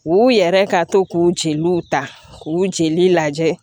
U yɛrɛ ka to k'u jeliw ta k'u jeli lajɛ